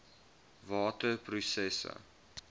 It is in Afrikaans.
watter prosesse